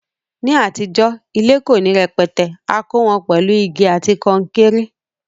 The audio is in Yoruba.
Ní àtijó, ilé ko ni rẹpẹtẹ, a kó won pèlu igi àti kankéré